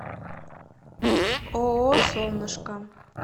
ооо солнышко